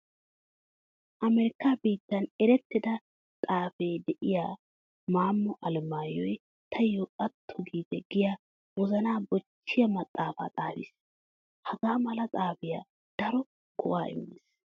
Amerikkaa biittan erettida xaafee de'iya Maammo Alamayyoy taayyo atto giite giya wozanaa bochchiya maxaafaa xaafis. Hagaa mala maxaafay daro go'aa immees.